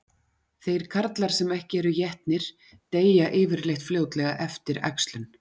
Þeir karlar sem ekki eru étnir deyja yfirleitt fljótlega eftir æxlun.